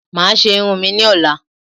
Mà á ṣé irun mi ní ọ̀la